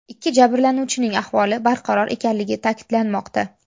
Ikki jabrlanuvchining ahvoli barqaror ekanligi ta’kidlanmoqda.